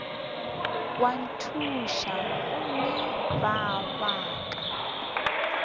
wa ntšhutha gomme ka baka